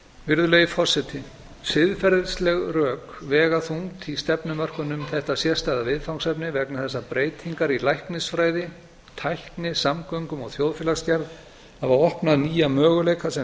virðulegi forseti siðferðisleg rök vega þungt í stefnumörkun um þetta sérstæða viðfangsefni vegna þess að breytingar í læknisfræði tækni samgöngum og þjóðfélagsgerð hafa opnað nýja möguleika sem